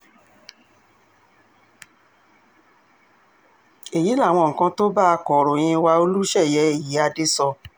èyí làwọn nǹkan tó bá akọ̀ròyìn wa olùṣeyè ìyíáde sọ